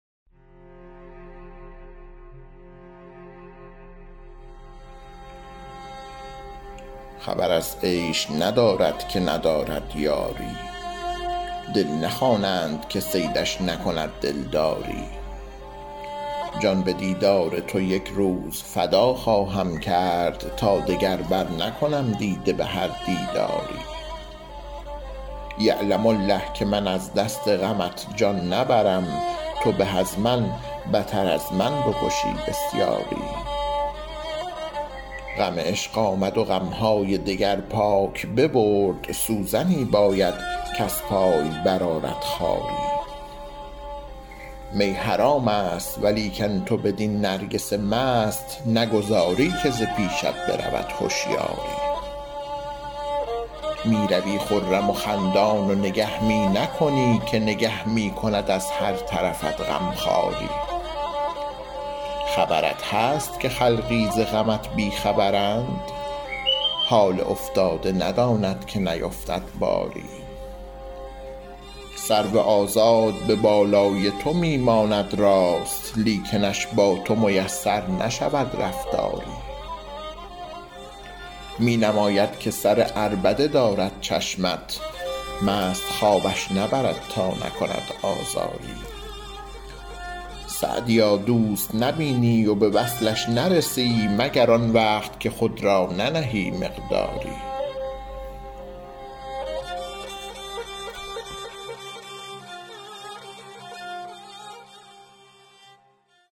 خبر از عیش ندارد که ندارد یاری دل نخوانند که صیدش نکند دلداری جان به دیدار تو یک روز فدا خواهم کرد تا دگر برنکنم دیده به هر دیداری یعلم الله که من از دست غمت جان نبرم تو به از من بتر از من بکشی بسیاری غم عشق آمد و غم های دگر پاک ببرد سوزنی باید کز پای برآرد خاری می حرام است ولیکن تو بدین نرگس مست نگذاری که ز پیشت برود هشیاری می روی خرم و خندان و نگه می نکنی که نگه می کند از هر طرفت غم خواری خبرت هست که خلقی ز غمت بی خبرند حال افتاده نداند که نیفتد باری سرو آزاد به بالای تو می ماند راست لیکنش با تو میسر نشود رفتاری می نماید که سر عربده دارد چشمت مست خوابش نبرد تا نکند آزاری سعدیا دوست نبینی و به وصلش نرسی مگر آن وقت که خود را ننهی مقداری